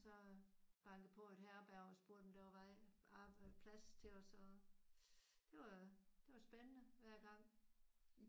Og så bankede på et herberg og spurgte om der var vej plads til os og det var det var spændende hver gang